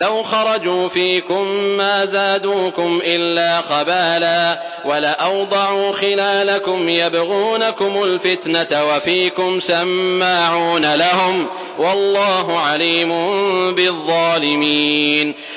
لَوْ خَرَجُوا فِيكُم مَّا زَادُوكُمْ إِلَّا خَبَالًا وَلَأَوْضَعُوا خِلَالَكُمْ يَبْغُونَكُمُ الْفِتْنَةَ وَفِيكُمْ سَمَّاعُونَ لَهُمْ ۗ وَاللَّهُ عَلِيمٌ بِالظَّالِمِينَ